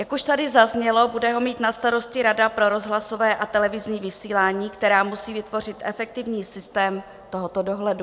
Jak už tady zaznělo, bude ho mít na starosti Rada pro rozhlasové a televizní vysílání, která musí vytvořit efektivní systém tohoto dohledu.